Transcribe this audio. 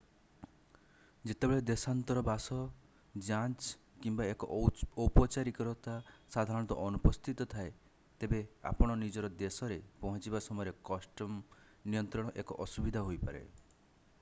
ଯେତେବେଳେ ଦେଶାନ୍ତର ବାସ ଯାଞ୍ଚ କିମ୍ବା ଏକ ଔପଚାରିକତା ସାଧାରଣତଃ ଅନୁପସ୍ଥିତ ଥାଏ ତେବେ ଆପଣ ନିଜର ଦେଶରେ ପହଞ୍ଚିବା ସମୟରେ କଷ୍ଟମ୍ ନିୟନ୍ତ୍ରଣ ଏକ ଅସୁବିଧା ହୋଇପାରେ